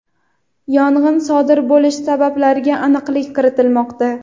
yong‘in sodir bo‘lish sabablariga aniqlik kiritilmoqda.